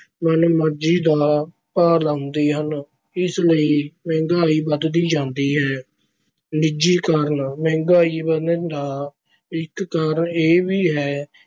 ਮਨਮਰਜ਼ੀ ਦਾ ਭਾਅ ਲਾਉਂਦੇ ਹਨ। ਇਸ ਲਈ ਮਹਿੰਗਾਈ ਵਧਦੀ ਜਾਂਦੀ ਹੈ। ਨਿੱਜੀਕਰਨ - ਮਹਿੰਗਾਈ ਵਧਣ ਦਾ ਇੱਕ ਕਾਰਨ ਇਹ ਵੀ ਹੈ